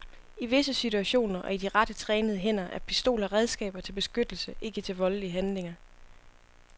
I visse situationer og i de rette trænede hænder er pistoler redskaber til beskyttelse, ikke til voldelige handlinger.